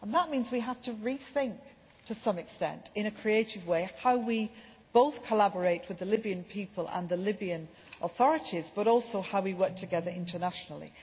That means we have to rethink, to some extent, in a creative way, both how we collaborate with the Libyan people and the Libyan authorities, and how we work together internationally.